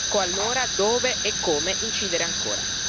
Ecco allora dove e come incidere ancora.